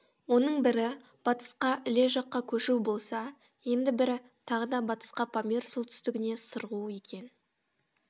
оның бірі батысқа іле жаққа көшу болса енді бірі тағы да батысқа памир солтүстігіне сырғу екен